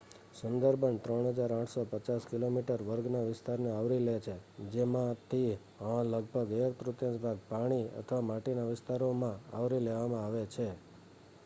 Sundarban 3850 kilometre વર્ગના વિસ્તારને આવરી લે છે જેમાંથિહ લગભગ એક-તૃતીયાંશ ભાગ પાણી/માટીના વિસ્તારોમાંt આવરી લેવામાં આવે છે